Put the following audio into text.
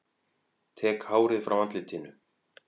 Tek hárið frá andlitinu.